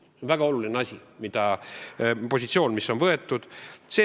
On väga oluline, et selline positsioon on võetud.